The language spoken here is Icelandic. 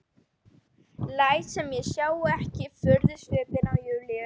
Læt sem ég sjái ekki furðusvipinn á Júlíu.